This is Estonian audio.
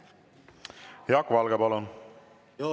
Jaak Valge, palun!